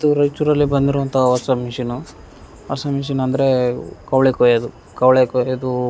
ತ್ತು ರಯ್ಚೂರಲ್ಲಿ ಬಂದಿರುವಂತ ಹೊಸ ಮಿಷಿನು ಹೊಸ ಮಿಶಿನ್ ಅಂದ್ರೆ ಕವ್ಳೆ ಕೊಯ್ಯೋದು ಕವ್ಳೆ ಕೊಯ್ಯೋದು --